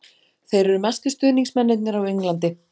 Þeir eru bestu stuðningsmennirnir á Englandi.